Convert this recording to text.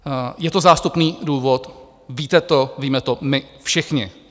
Je to zástupný důvod, víte to, víme to my všichni.